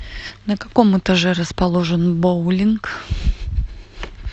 на каком этаже расположен боулинг